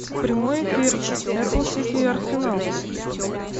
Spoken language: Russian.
прямой эфир апл сити и арсенал